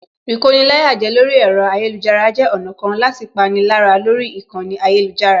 Ìkoni-láyàjẹ lórí ẹ̀rọ ayélujára jẹ́ ọ̀nà kan láti pani lára lórí ìkànnì ayélujára